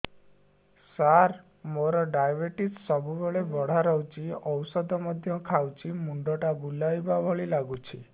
ସାର ମୋର ଡାଏବେଟିସ ସବୁବେଳ ବଢ଼ା ରହୁଛି ଔଷଧ ମଧ୍ୟ ଖାଉଛି ମୁଣ୍ଡ ଟା ବୁଲାଇବା ଭଳି ଲାଗୁଛି